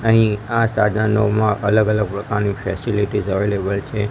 અહીં આ સાધનોમાં અલગ અલગ પ્રકારની ફેસિલિટીઝ અવેલેબલ છે.